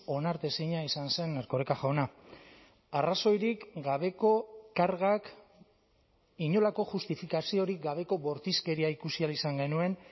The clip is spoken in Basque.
onartezina izan zen erkoreka jauna arrazoirik gabeko kargak inolako justifikaziorik gabeko bortizkeria ikusi ahal izan genuen